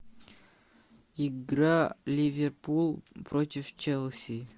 игра ливерпуль против челси